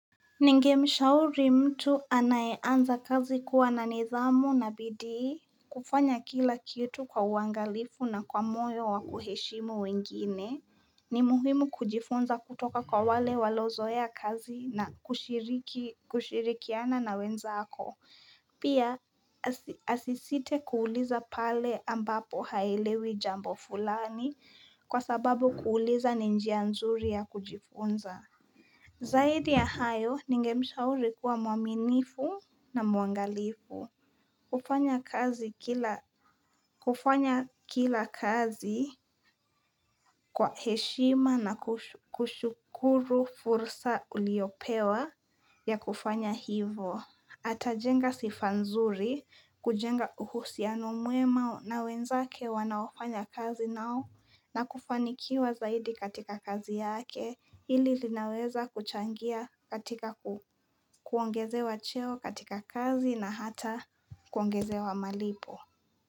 Ninge mshauri mtu anayeanza kazi kuwa na nidhamu na bidii kufanya kila kitu kwa uangalifu na kwa moyo wa kuheshimu wengine ni muhimu kujifunza kutoka kwa wale walozoea kazi na kushirikiana na wenzako pia asisite kuuliza pale ambapo haelewi jambo fulani kwa sababu kuuliza ni njia nzuri ya kujifunza Zaidi ya hayo ningemshauri kuwa mwaminifu na mwangalifu. Kufanya kila kazi kwa heshima na kushukuru fursa uliopewa ya kufanya hivo. Atajenga sifa nzuri kujenga uhusiano mwema na wenzake wanaofanya kazi nao na kufanikiwa zaidi katika kazi yake hili linaweza kuchangia katika kuongezewa cheo katika kazi na hata kuongezewa malipo.